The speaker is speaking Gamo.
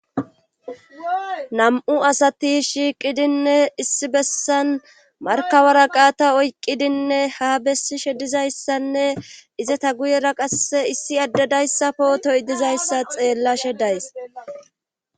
Nam'u asati shiiqidinne issi bessan markabara qaata oyqqidinne ha bessishe dizayssanne izata guyera qasse issi addedayssafo toy dizayssa xeellashe days